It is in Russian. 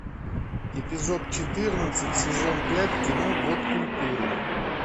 эпизод четырнадцать сезон пять кино год культуры